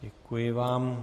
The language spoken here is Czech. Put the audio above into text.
Děkuji vám.